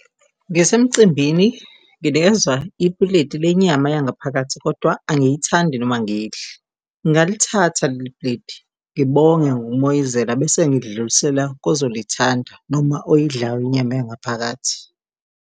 Ngisemcimbini, nginikezwa ipuleti lenyama yangaphakathi kodwa angiyithandi noma ngiyidla. Ngingalithatha leli pleti ngibonge ngokumoyizela bese ngikudlulisela kozolithanda noma oyidlayo inyama yangaphakathi.